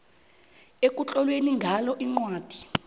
ekutlolwe ngalo incwadi